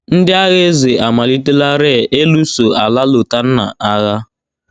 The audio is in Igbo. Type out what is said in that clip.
Ndị agha eze amalitelarị ịlụso ala Lotanna agha.